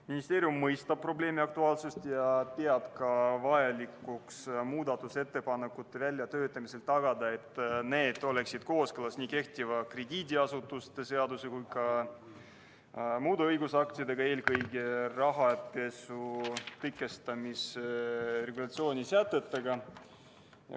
Ministeerium mõistab probleemi aktuaalsust ja peab vajalikuks muudatusettepanekute väljatöötamisel tagada, et need oleksid kooskõlas nii kehtiva krediidiasutuste seaduse kui ka muude õigusaktidega, eelkõige rahapesu tõkestamise regulatsiooni sätetega.